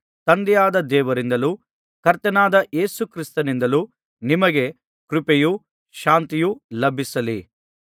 ತಂದೆಯಾದ ದೇವರಿಂದಲೂ ಕರ್ತನಾದ ಯೇಸು ಕ್ರಿಸ್ತನಿಂದಲೂ ನಿಮಗೆ ಕೃಪೆಯೂ ಶಾಂತಿಯೂ ಲಭಿಸಲಿ